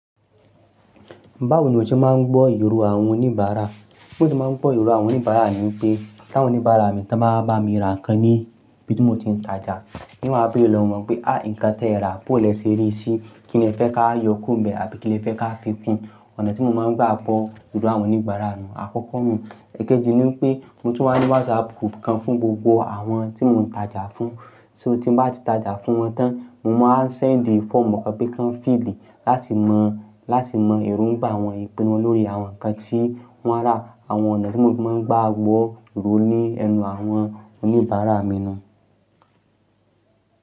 Báwo ni o ṣe máa ń gbọ́ irò àwọn oníbàárà? Bí mo ṣe máa ń gbọ́ irò àwọn oníbàárà ni pé, tí àwọn oníbàárà mi bá máa bá mi ra nǹkan ní bí mo ti ń tajà, nígbà tí mo bá bẹ̀rẹ̀ lọ́wọ́ wọn pé, "a, nǹkan tí ẹ rà kò lẹ́sẹ rí sí i, kí ni ẹ fẹ́ ká yọ kúrò n bẹ àbí kí ni ẹ fẹ́ ká fi fún un?" Ọ̀nà tí mo máa ń gbà gbọ́ irò àwọn oníbàárà nù àkọ́kọ́ nú. Ẹ̀keji ni pé mo tún máa ń ní WhatsApp group kan fún gbogbo àwọn tí mo ń tajà fún, só tí mo bá ti tajà fún wọn tán, mo máa ń send the form mọ́kàn pé kí wọ́n fill rí láti mọ, láti mọ èrò ń gbà wọ́n, ìpinnu wọn lórí àwọn nǹkan tí wọ́n rà, àwọn ọ̀nà tí mo máa ń gbàgbọ́ èrò ní ẹnu àwọn oníbàárà mi nù.